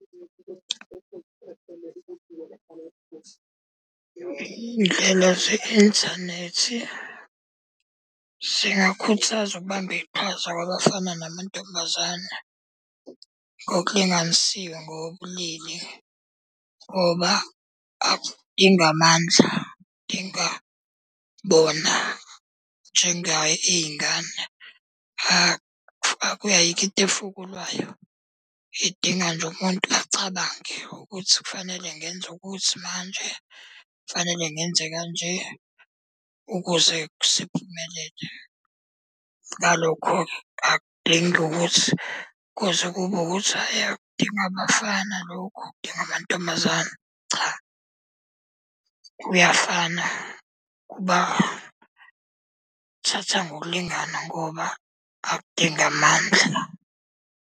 Iy'nhlelo ze-inthanethi, ziyakhuthaza ukubamba iqhaza kwabafana, namantombazane ngokulinganisiwe ngokobulili ngoba ingamandla . Ayikho into efukulwayo, idinga nje umuntu acabange ukuthi kufanele ngenze ukuthi manje, kufanele ngenze ka nje ukuze siphumelele. Ngalokho-ke akudingi ukuthi kuze kube ukuthi, hhayi akudingi abafana lokhu kudinga amantombazane, cha. Kuyafana kuba thatha ngokulingana ngoba akudingi amandla.